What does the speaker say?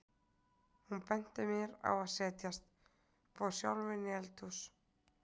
Hún benti mér á að setjast, fór sjálf inn í eldhús.